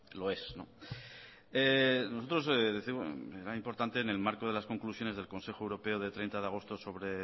lo es nosotros décimos era importante en el marco de las conclusiones del consejo europeo de treinta de agosto sobre